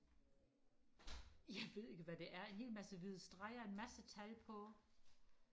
jeg ved ikke hvad det er en hel masse hvide streger en masse tal på